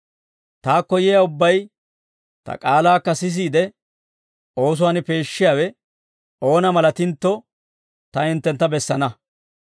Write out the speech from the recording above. Taakko yiyaa ubbay ta k'aalaakka sisiide oosuwaan peeshshiyaawe oona malatintto ta hinttentta bessana;